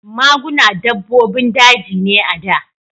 Maguna dabbobin daji ne a da.